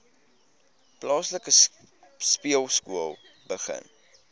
plaaslike speelskool begin